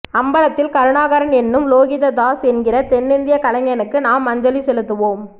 அம்பலத்தில் கருணாகரன் என்னும் லோகிததாஸ் என்கிற தென்னிந்திய கலைஞனுக்கு நாம் அஞ்சலி செலுத்துவோம்